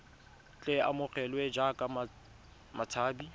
tle a amogelwe jaaka motshabi